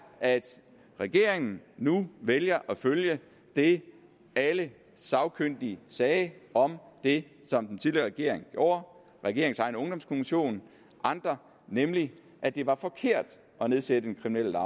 at regeringen nu vælger at følge det alle sagkyndige sagde om det som den tidligere regering gjorde den regerings egen ungdomskommission og andre nemlig at det var forkert at nedsætte den kriminelle